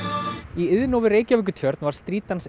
í Iðnó við Reykjavíkurtjörn var Street